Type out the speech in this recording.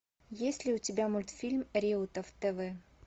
есть ли у тебя мультфильм реутов тв